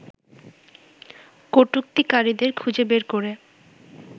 কটুক্তিকারীদের খুঁজে বের করে